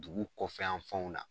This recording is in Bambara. Dugu kɔfɛ yan fɛnw na